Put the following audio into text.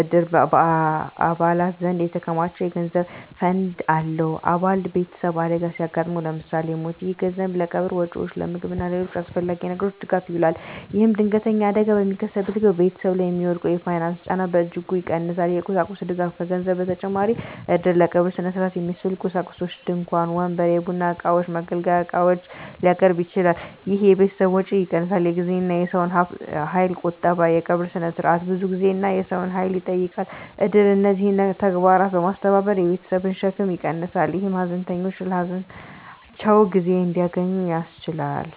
እድር በአባላት ዘንድ የተከማቸ የገንዘብ ፈንድ አለው። አባል ቤተሰብ አደጋ ሲያጋጥመው (ለምሳሌ ሞት)፣ ይህ ገንዘብ ለቀብር ወጪዎች፣ ለምግብ እና ለሌሎች አስፈላጊ ነገሮች ድጋፍ ይውላል። ይህም ድንገተኛ አደጋ በሚከሰትበት ጊዜ ቤተሰብ ላይ የሚወድቀውን የፋይናንስ ጫና በእጅጉ ይቀንሳል። የቁሳቁስ ድጋፍ: ከገንዘብ በተጨማሪ እድር ለቀብር ሥነ ሥርዓት የሚያስፈልጉ ቁሳቁሶችን (ድንኳን፣ ወንበር፣ የቡና እቃዎች፣ የመገልገያ ዕቃዎች) ሊያቀርብ ይችላል። ይህ የቤተሰብን ወጪ ይቀንሳል። የጊዜና የሰው ኃይል ቁጠባ: የቀብር ሥነ ሥርዓት ብዙ ጊዜና የሰው ኃይል ይጠይቃል። እድር እነዚህን ተግባራት በማስተባበር የቤተሰብን ሸክም ይቀንሳል፣ ይህም ሀዘንተኞች ለሀዘናቸው ጊዜ እንዲያገኙ ያስችላል።